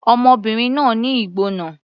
Ọmọbìnrin náà ní ìgbóná.